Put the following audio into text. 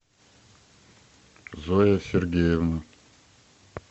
зоя сергеевна